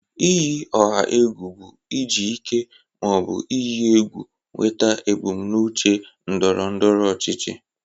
Iyi ọha egwu bụ iji ike ma ọ bụ iyi egwu nweta ebumnuche ndọrọ ndọrọ ọchịchị.